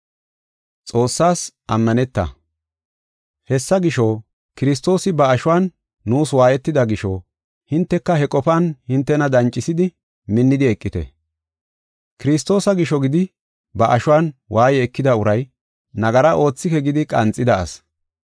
Hessa gisho, Kiristoosi ba ashuwan nuus waayetida gisho hinteka he qofan hintena dancisidi minnidi eqite. Kiristoosa gisho gidi ba ashuwan waaye ekida uray nagara oothike gidi qanxida asi.